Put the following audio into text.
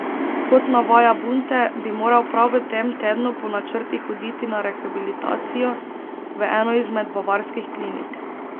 Kot navaja Bunte, bi moral prav v tem tednu po načrtih oditi na rehabilitacijo v eno izmed bavarskih klinik.